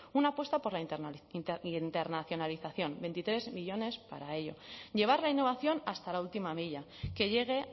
una apuesta por la internacionalización veintitrés millónes para ello llevar la innovación hasta la última milla que llegue